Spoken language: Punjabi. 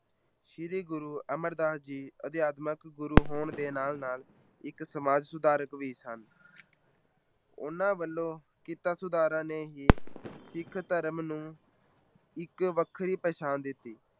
ਸ੍ਰੀ ਗੁਰੂ ਅਮਰਦਾਸ ਜੀ ਅਧਿਆਤਮਕ ਗੁਰੂ ਹੋਣ ਦੇ ਨਾਲ ਨਾਲ ਇੱਕ ਸਮਾਜ ਸੁਧਾਰਕ ਵੀ ਸਨ ਉਹਨਾਂ ਵੱਲੋਂ ਕੀਤਾ ਸੁਧਾਰਾਂ ਨੇ ਹੀ ਸਿੱਖ ਧਰਮ ਨੂੰ ਇੱਕ ਵੱਖਰੀ ਪਹਿਚਾਣ ਦਿੱਤੀ।